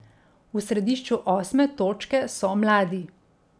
V središču osme točke so mladi.